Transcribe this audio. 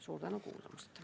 Suur tänu kuulamast!